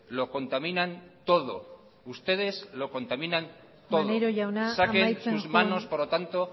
lo contaminan todo ustedes lo contaminan todo maneiro jauna amaitzen joan saquen sus manos por lo tanto